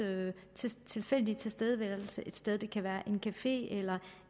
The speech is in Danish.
tilfældige tilstedeværelse et sted det kan være en café eller